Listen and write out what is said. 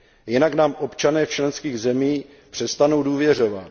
Jinak nám občané v členských zemích přestanou důvěřovat.